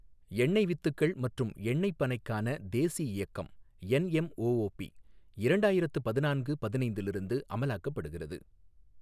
எண்ணெய் வித்துக்கள் மற்றும் எண்ணைப் பனைக்கான தேசிய இயக்கம் என்எம்ஒஒபி இரண்டாயிரத்து பதினான்கு பதினைந்திலிருந்து அமலாக்கப்படுகிறது.